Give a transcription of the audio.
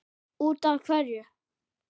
Út af hverju?